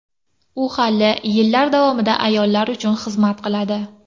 U hali yillar davomida ayollar uchun xizmat qiladi.